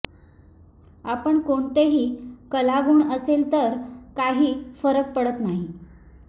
आपण कोणतेही कलागुण असेल तर काही फरक पडत नाही